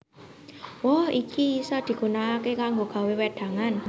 Woh iki isa digunakaké kanggo gawé wédangan